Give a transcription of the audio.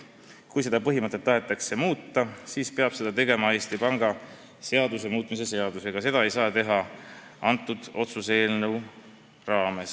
Kui seda põhimõtet tahetakse muuta, siis peab seda tegema Eesti Panga seaduse muutmise seadusega, seda ei saaks teha kõnealust otsuse eelnõu menetledes.